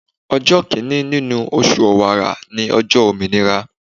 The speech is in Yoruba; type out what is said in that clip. Ọjọ́ Kínní nínú oṣù ọ̀wàrà ni ọjọ́ òmìnira.